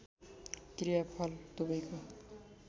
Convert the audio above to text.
क्रिया फल दुवैको